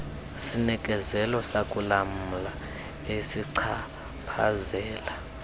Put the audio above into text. sinikezelo sakulamla esichaphazela